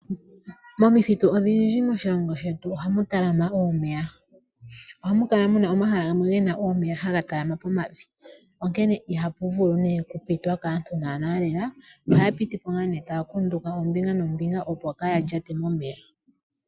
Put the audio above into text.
Momithitu odhindji moshilongo shetu ohame talama omeya, ohamukala muna omahala gamwe haga talama omeya hagakala geli pomavi, onkene ihapu vulu nee okupitwa kaantu naanaa lela nohaapitipo ike taakunduka ombiga nomb8nga opo kaayalyate momeya.